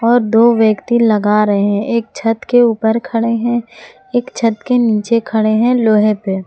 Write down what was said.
और दो व्यक्ति लगा रहे हैं एक छत के ऊपर खड़े हैं एक छत के नीचे खड़े हैं लोहे पे।